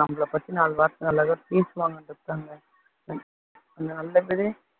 நம்மளை பத்தி நாலு வார்த்தை நல்லதா பேசுவாங்க